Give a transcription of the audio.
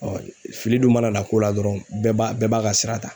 fili dun mana na ko la dɔrɔn bɛɛ b'a bɛɛ b'a ka sira ta.